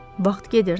Vaxt gedirdi.